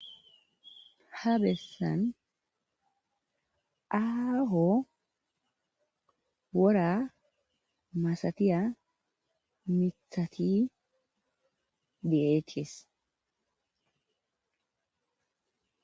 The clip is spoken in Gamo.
Ha beesan aaho wora masatiya mithati de'eetees.